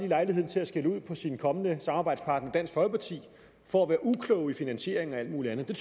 lejligheden til at skælde ud på sin kommende samarbejdspartner dansk folkeparti for at være uklog til finansieringen og alt mulig andet det